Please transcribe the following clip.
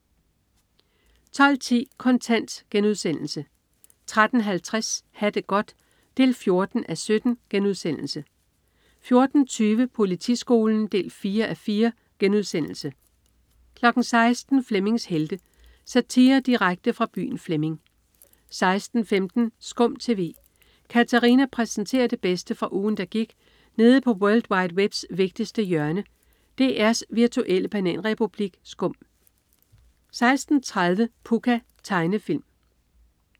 12.10 Kontant* 13.50 Ha' det godt 14:17* 14.20 Politiskolen 4:4* 16.00 Flemmings Helte. Satire direkte fra byen Flemming 16.15 SKUM TV. Katarina præsenterer det bedste fra ugen, der gik nede på world wide webs vigtigste hjørne, DR's virtuelle bananrepublik SKUM 16.30 Pucca. Tegnefilm